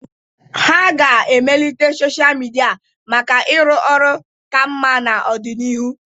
A ga-emelite sochịa midia maka ịrụ ọrụ ka mma n'ọdịnihu.